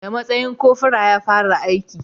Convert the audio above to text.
Da matsayin cofora ya fara aiki